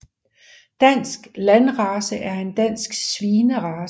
Dansk Landrace er en dansk svinerace